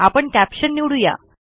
आपण कॅप्शन निवडू या